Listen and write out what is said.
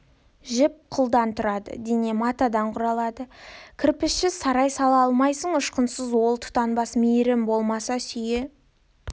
жіп қылдан тұрады дене матадан құралады кірпішсіз сарай сала алмайсың ұшқынсыз от тұтанбас мейірім болмаса сүйе